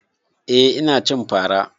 Eh ina cin fara